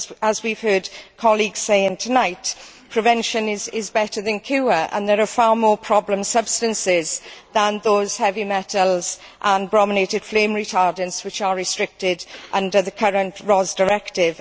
As we have heard colleagues saying tonight, prevention is better than cure and there are far more problem substances than those heavy metals and brominated flame retardants which are restricted under the current RoHS Directive.